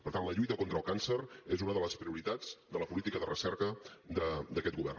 per tant la lluita contra el càncer és una de les prioritats de la política de recerca d’aquest govern